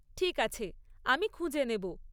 ঠিক আছে, আমি খুঁজে নেব।